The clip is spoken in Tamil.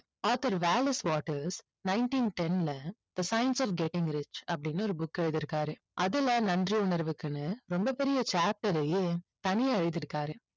author Wallace Wattles nineteen ten ல the science of getting rich அப்படின்னு ஒரு book எழுதியிருக்காரு. அதுல நன்றி உணர்வுக்குன்னு ரொம்ப பெரிய chapter ஐயே தனியா எழுதியிருக்காரு.